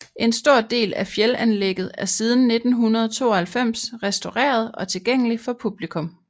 En stor del af fjeldanlægget er siden 1992 restaureret og tilgængelig for publikum